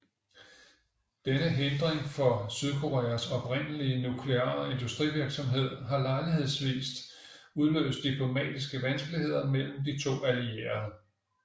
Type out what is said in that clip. Denne hindring for Sydkoreas oprindelige nukleare industrivirksomhed har lejlighedsvis udløst diplomatiske vanskeligheder mellem de to allierede